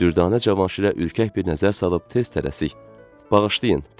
Dürdanə Cavanşirə ürkək bir nəzər salıb tez tələsik: "Bağışlayın", dedi.